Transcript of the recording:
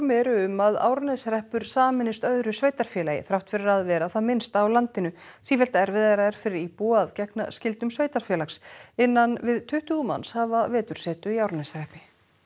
eru um að Árneshreppur sameinist öðru sveitarfélagi þrátt fyrir að vera það minnsta á landinu sífellt erfiðara er fyrir íbúa að gegnum skyldum sveitarfélags innan við tuttugu manns hafa vetursetu í Árneshreppi